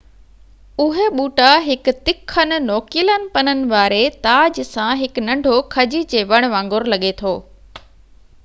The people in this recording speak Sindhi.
اهي ٻوٽا هڪ تکن نوڪيلن پنن واري تاج سان هڪ ننڍو کجي جي وڻ وانگر لڳي ٿو